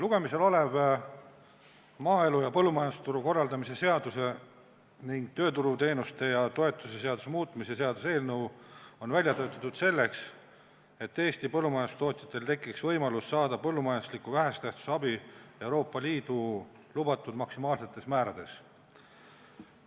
Lugemisel olev maaelu ja põllumajandusturu korraldamise seaduse ning tööturuteenuste ja -toetuste seaduse muutmise seaduse eelnõu on välja töötatud selleks, et Eesti põllumajandustootjatel tekiks võimalus saada põllumajanduslikku vähese tähtsusega abi Euroopa Liidu lubatud maksimaalsetes määrades.